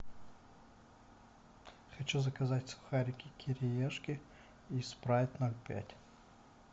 хочу заказать сухарики кириешки и спрайт ноль пять